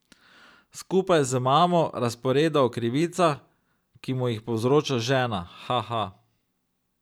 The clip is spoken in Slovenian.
Skupaj z mamo razpreda o krivicah, ki mu jih povzroča žena, haha!